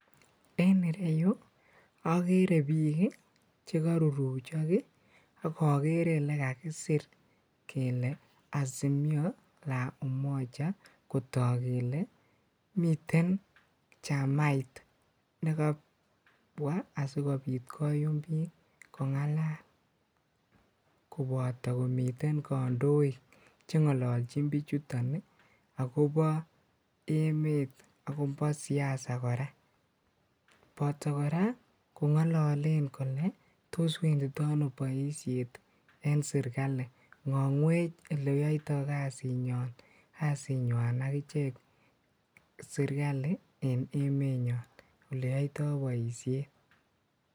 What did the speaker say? En ireyuu okeree biik chekoruruchok ak okeree elekakisir kelee Azimio La Umoja kotok kelee miten chamait nekobwaa asikobit koyum biik kong'alal koboto komiten kondoik cheng'ololchin bichuton akobo emet akobo siasa kora, botoo kora Kong'ololen kolee toos wendito ano boishet en serikali, ng'ong'wech eleyoito kasiit kasinyon kasinyinywan akichek serikali en emenyon eleyoito boishet.